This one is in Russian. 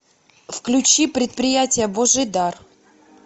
включи предприятие божий дар